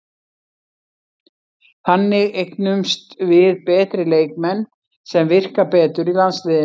Þannig eignumst við betri leikmenn sem virka betur í landsliðinu.